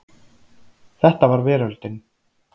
Þetta var veröldin.